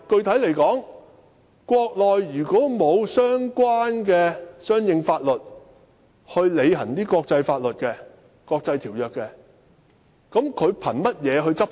此外，具體來說，如果國內沒有相應的法律履行國際條約，試問憑甚麼執法？